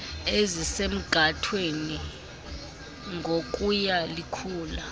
ezisemgathweni ngokuya likhula